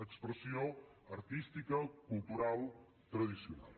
expressió artística cultural tradicional